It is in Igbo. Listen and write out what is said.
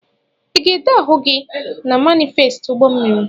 I ga-ede ahụ gị na manifesti ụgbọ mmiri?